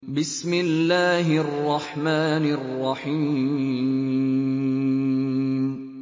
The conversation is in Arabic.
بِسْمِ اللَّهِ الرَّحْمَٰنِ الرَّحِيمِ